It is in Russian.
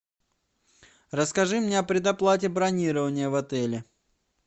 расскажи мне о предоплате бронирования в отеле